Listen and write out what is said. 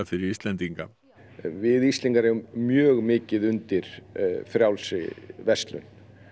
fyrir Íslendinga við Íslendingar eigum mjög mikið undir frjálsri verslun